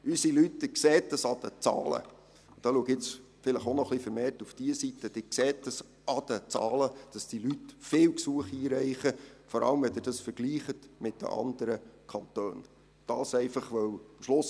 Sie sehen es an den Zahlen, dass die Leute viele Gesuche einreichen, vor allem, wenn Sie mit den anderen Kantonen vergleichen.